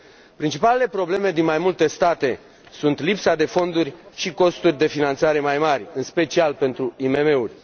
Principalele probleme din mai multe state sunt lipsa de fonduri și costurile de finanțare mai mari, în special pentru IMM uri.